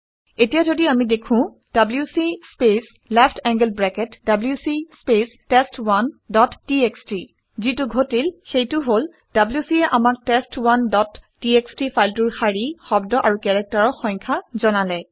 এতিয়া যদি আমি লিখোঁ - W C space left angled bracket W C space test one dot TXT যিটো ঘটিল সেইটো হল - wc এ আমাক টেষ্ট1 ডট টিএক্সটি ফাইলটোৰ শাৰী শব্দ আৰু কেৰেক্টাৰৰ সংখ্যা জনালে